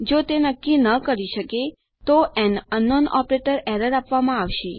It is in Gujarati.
જો તે નક્કી ન કરી શકે તો એએન અંકનાઉન ઓપરેટર એરર આપવામાં આવશે